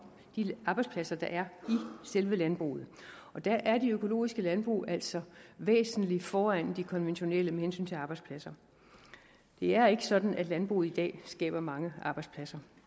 de arbejdspladser der er i selve landbruget der er de økologiske landbrug altså væsentlig foran de konventionelle med hensyn til arbejdspladser det er ikke sådan at landbruget i dag skaber mange arbejdspladser